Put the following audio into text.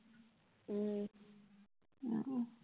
উহ উম